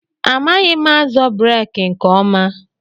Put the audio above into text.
Amaghị m azọ breeki nke ọma.